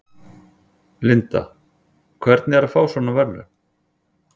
Linda: Hvernig er að fá svona verðlaun?